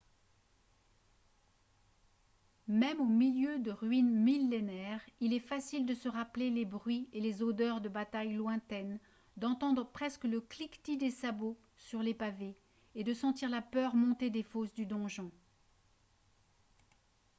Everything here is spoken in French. même au milieu de ruines millénaires il est facile de se rappeler les bruits et les odeurs de batailles lointaines d'entendre presque le cliquetis des sabots sur les pavés et de sentir la peur monter des fosses du donjon